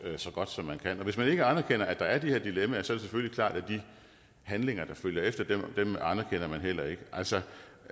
så godt som man kan hvis man ikke anerkender at der er de her dilemmaer selvfølgelig klart at de handlinger der følger efter anerkender man heller ikke altså